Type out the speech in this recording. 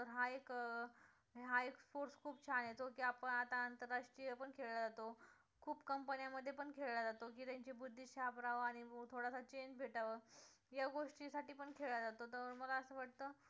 तर हा एक हा एक sports खूप छान आहे जो की आपण आता आंतरराष्ट्रीय पण खेळला जातो खूप कंपन्यांमध्ये पण खेळला जातो की त्यांची बुद्धी sharp राहावी आणि थोडसं change भेटावं या गोष्टी साठी पण खेळला जातो, तर मला असं वाटतं